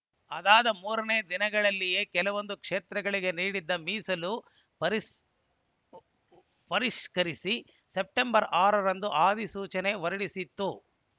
ಅದಾದ ಮೂರನೇ ದಿನಗಳಲ್ಲಿಯೇ ಕೆಲವೊಂದು ಕ್ಷೇತ್ರಗಳಿಗೆ ನೀಡಿದ್ದ ಮೀಸಲು ಪರಿಷ್ಕರಿಸಿ ಸೆಪ್ಟೆಂಬರ್ ಆರ ರಂದು ಅಧಿಸೂಚನೆ ಹೊರಡಿಸಿತ್ತು